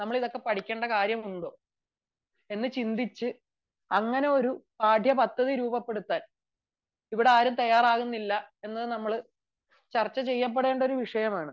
നമ്മൾ ഇതൊക്കെ പഠിക്കേണ്ട ആവശ്യമുണ്ടോ എന്ന് ചിന്തിച്ചു പാഠ്യപദ്ധതി രൂപപ്പെടുത്താൻ ഇവിടെ ആരും തയ്യാറാവുന്നില്ല എന്ന് നമ്മൾ ചർച്ച ചെയ്യപ്പെടേണ്ട വിഷയമാണ്